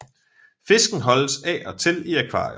Fisken holdes af og til i akvarier